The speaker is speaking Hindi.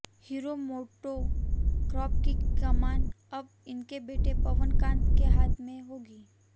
हीरो मोटो कॉर्प की कमान अब उनके बेटे पवन कांत के हाथ में होगी